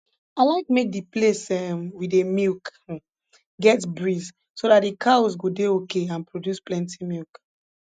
i like make the place um we dey milk um get breeze so that the cows go dey okay and produce plenti milk